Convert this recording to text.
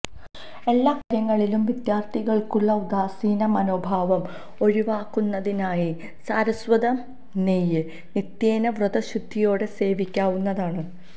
എല്ലാക്കാര്യങ്ങളിലും വിദ്യാർത്ഥികൾക്കുള്ള ഉദാസീന മനോഭാവം ഒഴിവാക്കുന്നതിനായി സാരസ്വതം നെയ്യ് നിത്യേന വ്രത ശുദ്ധിയോടെ സേവിക്കാവുന്നതാണ്